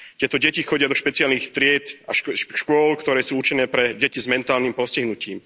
Tieto deti chodia do špeciálnych tried a škôl, ktoré sú určené pre deti s mentálnym postihnutím.